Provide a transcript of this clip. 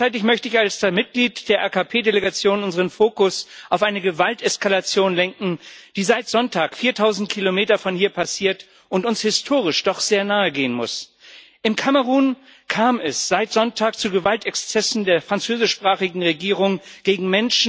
Gleichzeitig möchte ich als ein Mitglied der AKP Delegation unseren Fokus auf eine Gewalteskalation lenken, die seit Sonntag 4000 Kilometer von hier passiert und uns historisch doch sehr nahe gehen muss. In Kamerun kam es seit Sonntag zu Gewaltexzessen der französischsprachigen Regierung gegen Menschen, die den